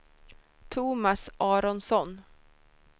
Thomas Aronsson